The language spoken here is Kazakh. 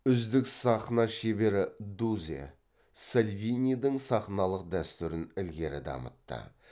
үздік сахна шебері дузе сальвинидің сахналық дәстүрін ілгері дамытты